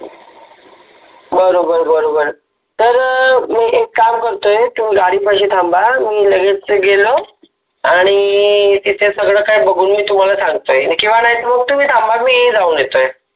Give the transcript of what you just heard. बरोबर बरोबर तर मि एक काम करतोय तुम्हि गाडिपाशि थाम्बा मि लगेच गेलो आणी ते तिथे सगळ काहि बघुन मि तुम्हाला सांगतोय किवा नाहीतर मग तुम्हि थाम्बा मि जाऊन येतोय